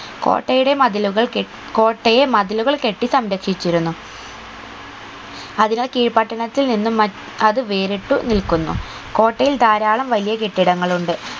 കോട്ടയുടെ മതിലുകൾ കെ കോട്ടയെ മതിലുകൾ കെട്ടി സംരക്ഷിച്ചിരുന്നു അതിനാ കീഴ് പട്ടണത്തിൽ നിന്നും മ അത് വേറിട്ടു നിൽക്കുന്നു കോട്ടയിൽ ധാരാളം വലിയ കെട്ടിടങ്ങൾ ഉണ്ട്